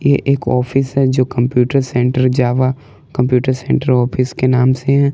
ये एक ऑफिस है जो computer centre Java computer centre office के नाम से है।